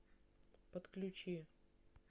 подключи